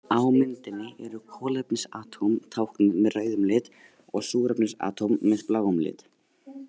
Á myndinni eru kolefnisatóm táknuð með rauðum lit og súrefnisatóm með bláum lit.